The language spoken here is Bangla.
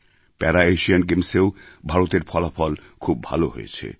প্যারাএশিয়ান গেমসেও ভারতের ফলাফল খুব ভালো হয়েছে